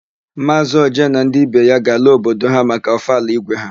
Maazị Oje na ndị be ya ga-ala obodo ha maka ọfala ígwé ha.